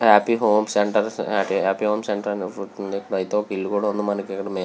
అతి homes centres అతి homes centres ఒక ఇల్లు కూడా వుంది. మనకి--